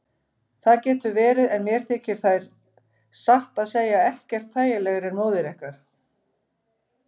Það getur verið en mér þykir þær satt að segja ekkert þægilegri en móður ykkar.